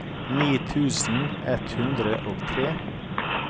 ni tusen ett hundre og tre